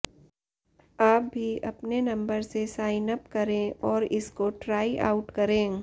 आप भी अपने नंबर से साइन अप करें और इसको ट्राई आउट करें